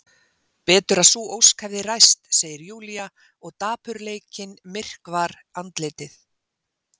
Betur að sú ósk hefði ræst, segir Júlía og dapurleikinn myrkvar andlitið.